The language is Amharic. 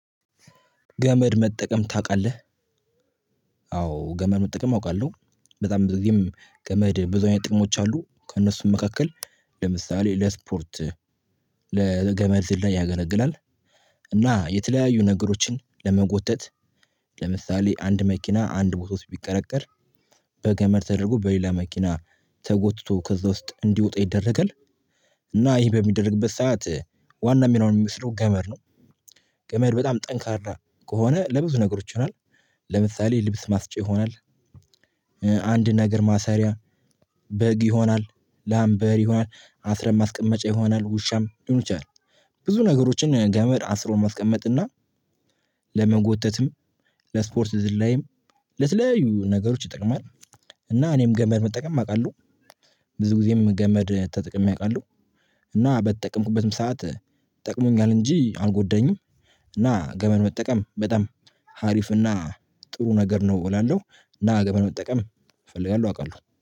ገመድ መጠቀም ታውቃለህ? አዎ ገመድ መጠቀም አውቃለሁ በጣም በዚህም ገመድ ብዙ አይነት ጥቅሞች አሉት ከእነሱም መካከል ለምሳሌ ለስፖርት ለገመድ ዝላይ ያገለግላል። እና የተለያዩ ነገሮችን ለመጎተት ለምሳሌ አንድ መኪና አንድ ቦታ ውስጥ ቢቀረቀር በገመድ ተደርጎ በሌላ መኪና ተጎትቶ ከዛ ውስጥ እንዲወጣ ይደረጋል። እና ይህ በሚደረግበት ሰዓት ዋና ሚናውን የሚወስደው ገመድ ነው። ገመድ በጣም ጠንካራ ከሆነ ለብዙ ነገሮች ይሆናል ለምሳሌ ልብስ ማስጫ ይሆናል። አንድ ነገር ማሰሪያ በግ ይሆናል ላም በሬ ይሆናል አስረን ማስቀመጫ ይሆናል ውሻም ሊሆን ይችላል። ብዙ ነገሮችን ገመድ አስሮ ማስቀመጥና ለመጎተትም ለስፖርት ዝላይም ለተለያዩ ነገሮች ይጠቅማል። እና እኔም ገመድ መጠቀም አውቃለሁ። ብዙ ጊዜም ገመድ ተጠቅሜ አውቃለሁ። እና በተጠቀምኩበትም ሰዓት ጠቅሞኛል እንጂ አልጎዳኝም። እና ገመድ መጠቀም በጣም አሪፍና ጥሩ ነገር ነው እላለሁ። እና ገመድ መጠቀም እፈልጋለሁ አውቃለሁ